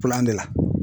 de la